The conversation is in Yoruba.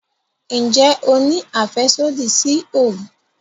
Nje o ni afẹsodi si oogun?